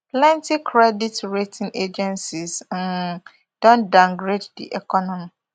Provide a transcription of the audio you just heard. plenti credit rating agencies um don downgrade di economy